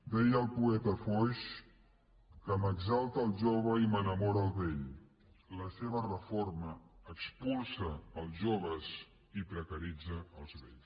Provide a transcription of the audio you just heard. deia el poeta foix que m’exalta el jove i m’enamora el vell la seva reforma expulsa els joves i precaritza els vells